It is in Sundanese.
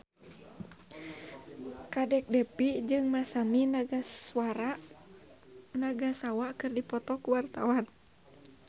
Kadek Devi jeung Masami Nagasawa keur dipoto ku wartawan